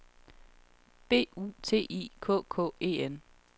B U T I K K E N